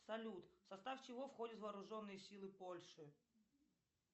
салют в состав чего входят вооруженные силы польши